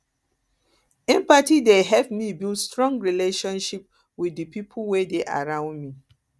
empathy dey help me build strong relationship wit di pipo wey dey around me